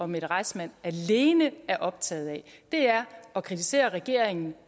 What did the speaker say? mette reissmann alene er optaget af er at kritisere regeringen